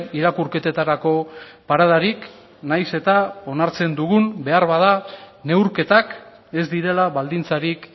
irakurketetarako paradarik nahiz eta onartzen dugun beharbada neurketak ez direla baldintzarik